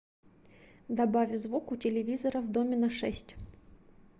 добавь звук у телевизора в доме на шесть